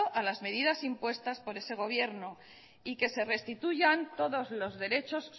a la medidas impuestas por ese gobierno y que restituyan todos los derechos